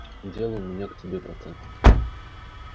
дело у меня к тебе пацан